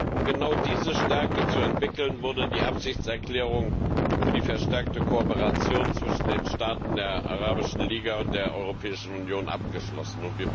Um genau diese Stärke zu entwickeln, wurde die Absichtserklärung für die verstärkte Kooperation zwischen den Staaten der Arabischen Liga und der Europäischen Union abgeschlossen.